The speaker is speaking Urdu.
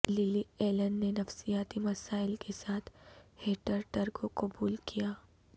للی ایلن نے نفسیاتی مسائل کے ساتھ ہیٹرٹر کو قبول کیا